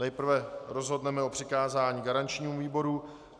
Nejprve rozhodneme o přikázání garančnímu výboru.